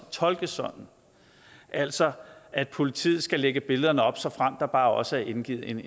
tolkes sådan altså at politiet skal lægge billederne op såfremt der bare også er indgivet en